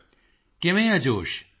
ਮੋਦੀ ਜੀ ਕਿਵੇਂ ਹੈ ਜੋਸ਼